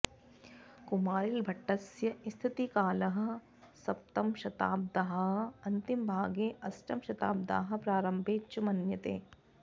कुमारिलभट्टस्य स्थितिकालः सप्तमशताब्द्याः अन्तिमभागे अष्टमशताब्द्याः प्रारम्भे च मन्यते